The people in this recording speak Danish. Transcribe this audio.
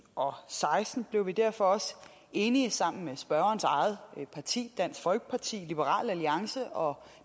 og seksten blev vi derfor også enige med spørgerens eget parti dansk folkeparti og liberal alliance og